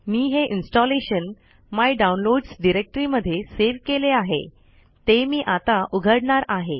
मी हे installation my downloads directory मध्ये save केले आहे ते मी आता उघडणार आहे